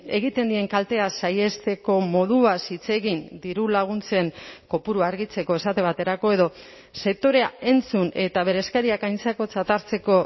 egiten dien kaltea saihesteko moduaz hitz egin dirulaguntzen kopurua argitzeko esate baterako edo sektorea entzun eta bere eskariak aintzakotzat hartzeko